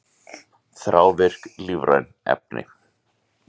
Þrávirk lífræn efni